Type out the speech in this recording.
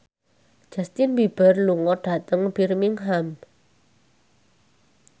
Justin Beiber lunga dhateng Birmingham